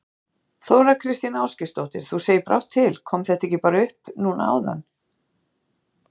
Þóra Kristín Ásgeirsdóttir: Þú segir brátt til, kom þetta ekki bara upp á núna áðan?